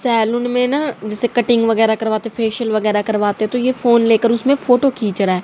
Salon में ना जैसे कटिंग वगैरा करवाते फेशियल वगैरा करवाते तो ये फोन ले कर उसमे फोटो खींच रहा है।